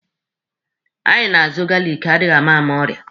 Anyị na-azụ galiki adịama ama ọrịa.